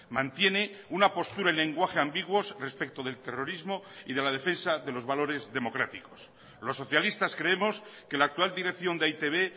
mantiene un a postura y lenguaje ambiguos respecto del terrorismo y de la defensa de los valores democráticos los socialistas creemos que la actual dirección de e i te be